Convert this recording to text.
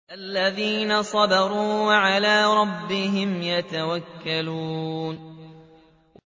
الَّذِينَ صَبَرُوا وَعَلَىٰ رَبِّهِمْ يَتَوَكَّلُونَ